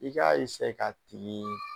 I k'a k'a tigi